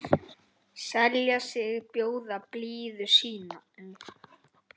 selja sig, bjóða blíðu sínu